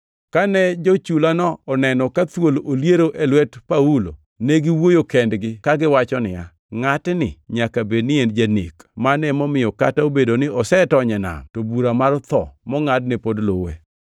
Kane jo-chulano oneno ka thuol oliero e lwet Paulo, ne giwuoyo kendgi kagiwacho niya, “Ngʼatni nyaka bed ni en janek, mano emomiyo kata obedo ni osetony e nam, to bura mar tho mongʼadne pod luwe.”